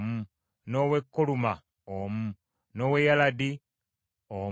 n’ow’e Koluma omu, n’ow’e Yaladi omu,